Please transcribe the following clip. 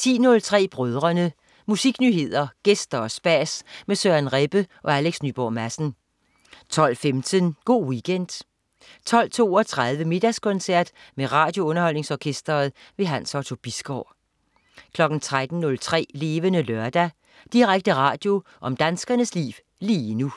10.03 Brødrene. Musiknyheder, gæster og spas med Søren Rebbe og Alex Nyborg Madsen 12.15 Go' Weekend 12.32 Middagskoncert med RadioUnderholdningsOrkestret. Hans Otto Bisgaard 13.03 Levende Lørdag. Direkte radio om danskernes liv lige nu